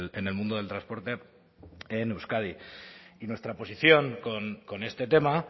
en el mundo del transporte en euskadi y nuestra posición con este tema